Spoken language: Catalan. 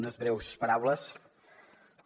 unes breus paraules però